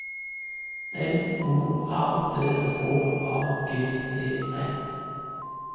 N O R D H A G E N